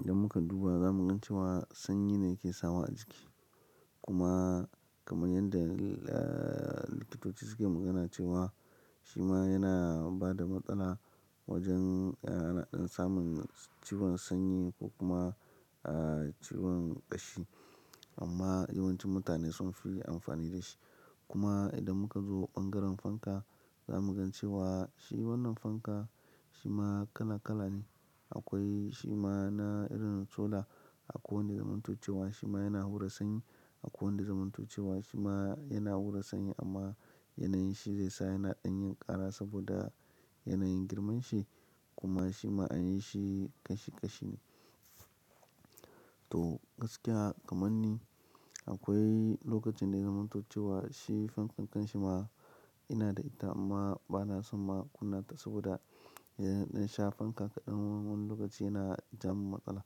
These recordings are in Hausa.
idan muka duba za mu gan cewa sanyi ne yake sawa a ciki. Kuma kamar yanda, ah, likitoci suke magana cewa shi ma yana bada matsala wajen, ah, ana dan samun ciwon sanyi ko kuma, ah, ciwon ƙashi. Amma yawancin mutane sun fi amfani da shi. Kuma idan muka zo ɓangaren fanka za mu gan cewa shi wannan fanka shi ma kala kala ne. Akwai shi ma na irin sola akwai wanda zamanto ce wa shi ma yana hura sanyi, akwai wanda zamanto ce wa shi ma yana hura sanyi amma yanayin shi zai sa yana ɗan yin ƙara saboda yanayin girman shi kuma shi ma anyi shi ƙashi ƙashi ne. To gaskiya kaman ni akwai lokacin da zamanto ce wa shi fankan ƙanshi ma ina da ita amma bana son ma kunna ta saboda idan sha fanka kaɗan wani lokaci yana jawo mun matsala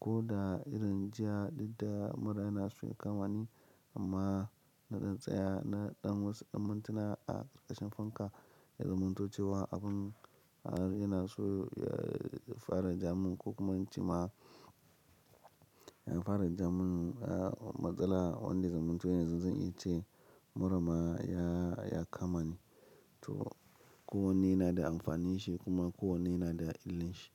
ko da irin jiya, duk da mura yana so ya kamani amma na ɗan tsaya na ɗan wasu ɗan mintuna a ƙarkashen fanka. Na zamantocewa abun yana so ya fara jamu ko kuma an ce ma ya fara jamun matsala wanda zamanto yanzu zan iya ce mura ma ya, ya kamani. To kowanne yana da amfani shi kuma kowanne yana da illin shi.